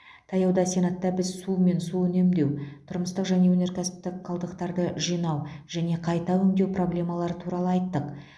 таяуда сенатта біз су мен су үнемдеу тұрмыстық және өнеркәсіптік қалдықтарды жинау және қайта өңдеу проблемалары туралы айттық